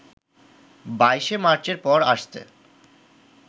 ২২শে মার্চের পরে আসতে